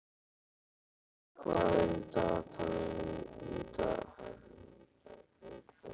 Lara, hvað er í dagatalinu í dag?